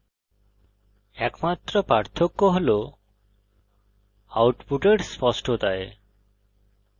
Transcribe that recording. একমাত্র পার্থক্য হল আউটপুটের স্পষ্টতায়